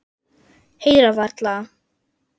Heyra varla.